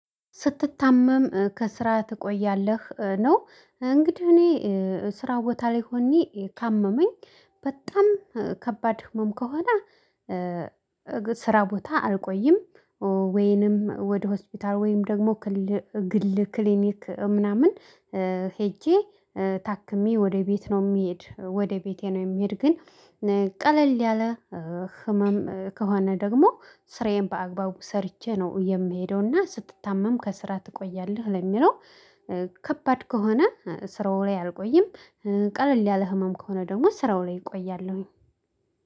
ስትታመም ከስራ ትቆያለህ? ነው እንግዲህ እኔ ስራ ቦታ ላይ ሆኜ ካመመኝ በጣም ከባድ ህመም ከሆነ ስራ ቦታ አልቆይም ወይንም ወደ ሆስፒታል ወይንም ደግሞ ግል ክሊኒክ ምናምን ሄጄ ታክሜ ወደ ቤት ነው የሚሄድ ወደ ቤቴ ነው የሚሄድ። ግን ቀለል ያለ ህመም ከሆነ ደግሞ ስራዬን በአግባቡ ሰርቼ ነው የምሄደውና ስትታመም ከስራ ትቆያለህ ለሚለው ከባድ ከሆነ ስራው ላይ አልቆይም። ቀለል ያለ ህመም ከሆነ ደግሞ ስራው ላይ እቆያለሁኝ።